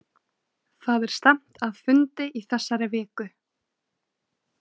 Það er stefnt að fundi í þessari viku.